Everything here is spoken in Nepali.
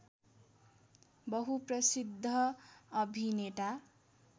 बहुप्रसिद्ध अभिनेता